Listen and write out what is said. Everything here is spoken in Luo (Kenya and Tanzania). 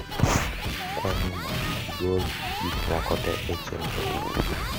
akwayo ni mondi igol gik moko te e chenrona